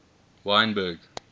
wynberg